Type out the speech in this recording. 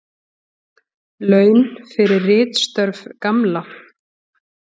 Laun fyrir ritstörf Gamla.